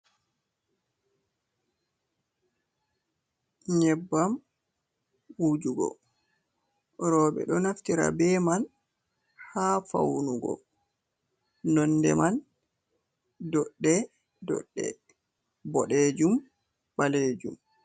Nyebbam wujugo roɓe ɗo naftira be man ha faunugo nonde man doɗɗe-doɗɗe, boɗejum, ɓalejum.